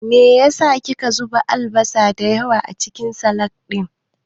Me yasa ki ka zuba albasa me yawa acikin salak ɗin.